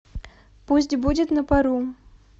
пусть будет на пару